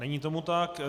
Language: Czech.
Není tomu tak.